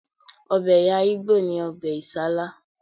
Ọbẹ̀ ẹ̀̀yà ìgbò ni ọbẹ̀ Isala